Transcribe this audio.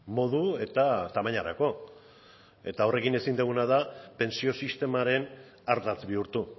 modu eta tamainarako eta horrekin ezin diguna da pentsio sistemaren ardatz bihurtu